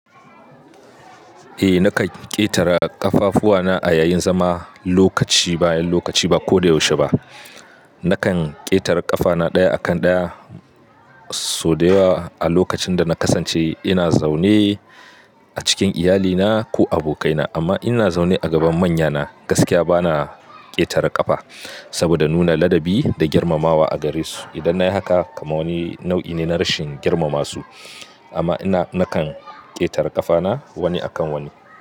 Eh, nakan ƙetara ƙafafuwana a yayin zama lokaci bayan lokaci ba ko da yaushe ba. Nakan ƙetare ƙafana ɗaya akan ɗaya, so da yawa a lokacin da na kasance ina zaune a cikin iyalina ko abokaina. Amma ina zaune a gaban manyana, gaskiya bana ƙetare ƙafa saboda nuna ladabi da girmamawa a gare su. Idan na yi haka, kama wani nau'i ne na rashin girmama su. Amma ina nakan ƙetara ƙafana wani akan wani.